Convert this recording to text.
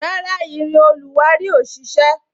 Rárá, irin oluwari ò ṣise